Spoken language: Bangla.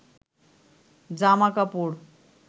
জামা কাপড়